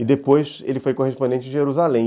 E depois ele foi correspondente de Jerusalém.